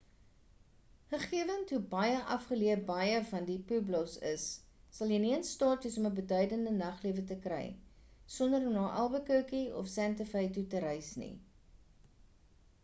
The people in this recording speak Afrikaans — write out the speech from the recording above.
gegewend hoe afgelee baie van die pueblos is sal jy nie in staat wees om 'n beduidende naglewe te kry sonder om na albuquerque of sante fe toe te reis nie